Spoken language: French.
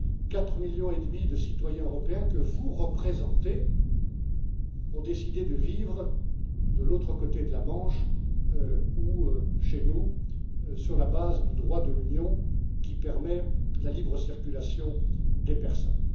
Quatre millions et demi de citoyens européens, que vous représentez, ont décidé de vivre de l'autre côté de la Manche ou chez nous sur la base du droit de l'Union, qui permet la libre circulation des personnes.